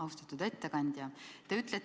Austatud ettekandja!